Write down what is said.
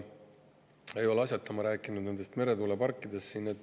Ei ole asjata ma rääkinud meretuuleparkidest.